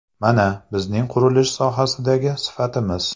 Mana, bizning qurilish sohasidagi sifatimiz.